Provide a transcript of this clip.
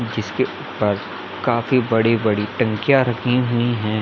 जिसके पास काफी बड़ी-बड़ी टंकीया रखी हुई है ।